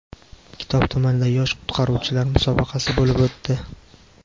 Kitob tumanida yosh qutqaruvchilar musobaqasi bo‘lib o‘tdi.